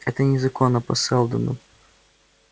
это незаконно по сэлдону